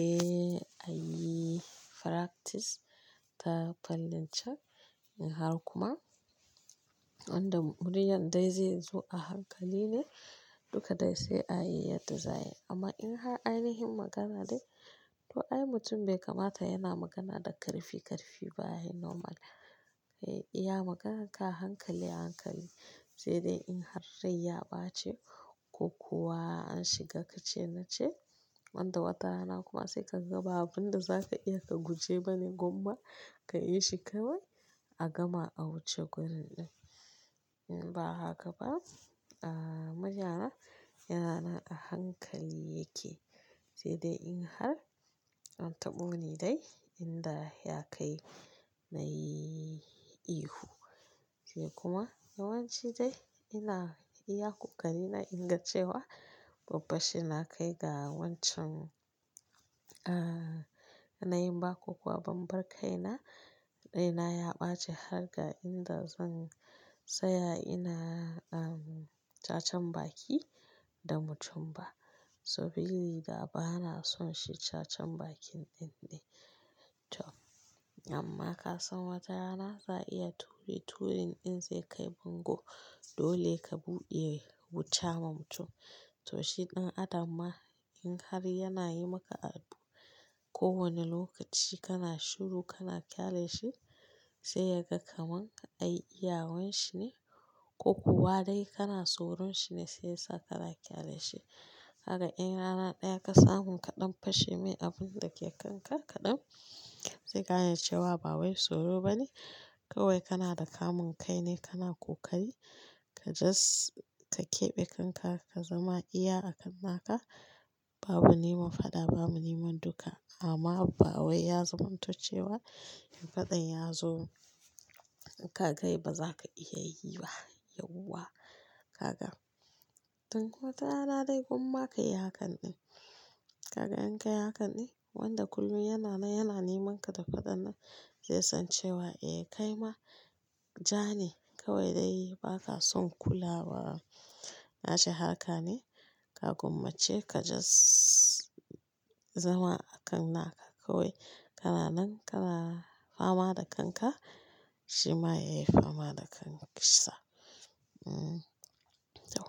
Eh, ayi practice ta fallin ce in har kuma wanda muryar dai zai zo a hankali ne, duka dai sai ayi yadda za a yi. Amma in har ainihin magana dai, to ai mutum bai kamata yana magana da karfi-karfi ba, ayi normal. Eh iya magana ka a hankali-hankali, sai dai in har rai ya ɓaci ko kuwa an shiga ka ce na ce, wanda wata rana kuma sai ka ga babu wanda za ka iya ka guje ba ne gumma ka yi shi kawai a gama a wuce wurin ɗin. Ba haka ba, ah murya na yana nan a hankali yake, sai dai in har an taɓo ni dai inda ya kai na yi ihu. Sai kuma yawanci dai ina iya kokari na inga cewa babban shi na kai ga wancan, ah na yi ba ko kuwa ban bar kai na dai na ya ɓace har ga inda zan tsaya ina um cacan baki da mutum ba. So biri da ba na son shi cacan bakin ɗin ne. To amma ka san wata rana za a iya ture-turin ɗin zai kai bango dole ka buɗe wuta ma mutum. To shi ɗan adam ma in har yana yi maka abu kowanne lokaci kana shiru kana ƙyale shi sai ya ga kaman ai iyawanshi ne ko kuwa dai kana soron shi ne sai ya sa kana ƙyale shi. Ka ga in rana ɗaya ka samu ka ɗan fashe mai abun da ke kanka kaɗan, zai gane cewa ba wai soro ba ne kawai kana da kamun kai ne kana ƙoƙari, ka just ka keɓe kanka ka zama iya akan naka. Babu neman faɗa babu neman duka amma ba wai ya zamanto cewa in faɗan ya zo, in ka kai ba za ka iya yi ba yauwa. Haka. Tun wata rana dai gwamma ka yi hakan ɗin. Ka ga in kai hakan ɗin, wanda kullum yana nan yana nemanka da faɗan nan, zai san cewa eh kai ma ja ne kawai dai ba ka son kulawa nashi harka ne, ka gwammace ka jos. Zama a kan naka kawai kana nan kana fama da kanka shi ma yayi fama da kansa. Um to,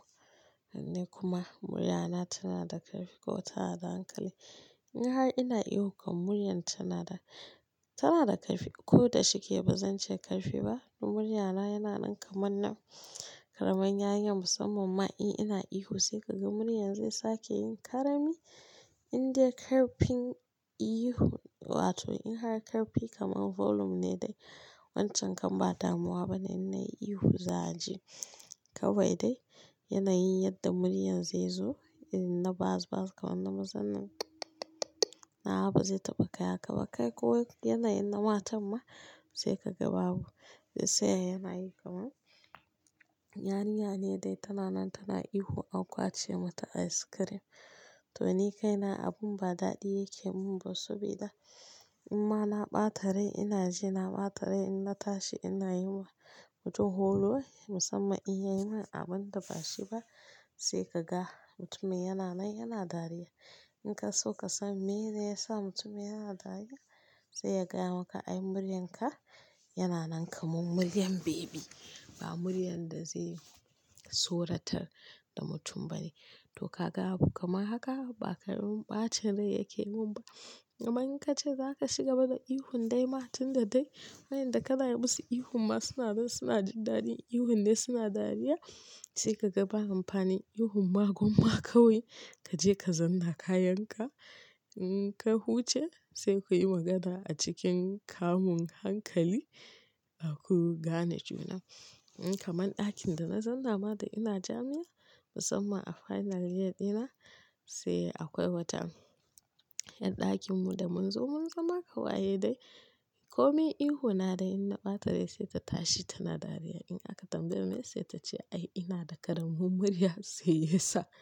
alallai kuma muryana tana da ƙarfi ko tana da hankali. In har ina ihu kan muryan tana da, tana da ƙarfi ko da shike ba zan ce ƙarfi ba, dun muryana yana nan kamar na ƙaraman yarinya musamman ma in ina ihu sai ka ga muryan zai sake yin karami indai ƙarfin ihu. Wato in har karfi kamar volume ne dai wancan kan ba damuwa ba ne in na yi ihu za a ji. Kawai dai yanayin yadda muryan zai zo in na ba'a-ba'a kamar na mazan nan nawa ba zai taɓa kai haka ba kai ko wai yanayin na matan ma sai ka ga babu. Sai yai yanayi kaman yarinya ne dai tana nan tana ihu an kwace mata ice cream. To ni kaina abun ba daɗi yake mun ba sabida. In ma na ɓata rai ina ji na ɓata rai in na tashi ina yi wa mutum horo musamman in yayi min abun da bashi ba. Sai ka ga mutumin yana nan yana dariya. In ka so ka san meye ne yasa mutumin yana dariya, sai ya gaya maka ai muryanka yana nan kamar muryan baby ba muryan da zai soratar da mutum ba ne. To ka ga abu kamar haka ba karamin ɓacin rai yake mun ba. Amma in ka ce za ka shigaba da ihun dai ma tun da dai waƴanda ka na yi musu ihun ma suna nan suna jin daɗi ihun dai suna dariya, sai ka ga ba amfani ihun ma gwamma kawai kaje ka zanna kayanka. In ka huce sai ku yi magana a cikin kamun hankali a ku gane juna. In kamar ɗakin da na zanna ma da ina jami'a musamman a final year ɗina sai akwai wata ƴar ɗakin mu da mun zo mun zama ƙawaye dai. Ko min ihu na dai in na ɓata rai sai ta tashi tana dariya in aka tambaye meye sai ta ce ai ina da ƙaramin murya sai ya sa.